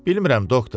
Bilmirəm, doktor.